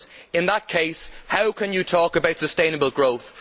In that case, how can you talk about sustainable growth?